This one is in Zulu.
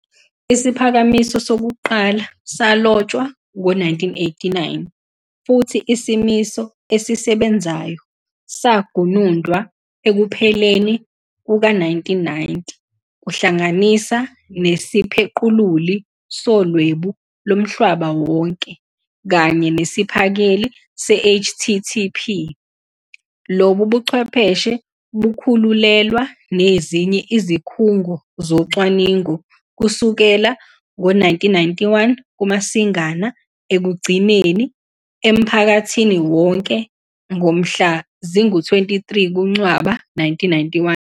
Isiphakamiso sokuqala salotshwa ngowe-1989, futhi isimiso esisebenzayo sagunundwa ekupheleni kowe-1990 kuhlanganisa nesiphequluli soLwebu loMhlaba Wonke kanye ngesiphakeli se-HTTP. Lobu buchwepheshe bakhululelwa nezinye izikhungo zocwaningo kusukela ngowe-1991 kuMasingana, ekugcineni emphakathini wonke ngomhla zingama-23 kuNcwaba 1991.